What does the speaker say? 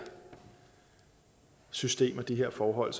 system og de her forhold